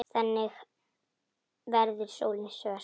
Þannig verður sólin svört.